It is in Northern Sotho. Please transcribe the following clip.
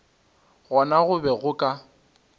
gona go be go ka